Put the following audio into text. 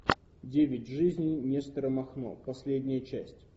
девять жизней нестора махно последняя часть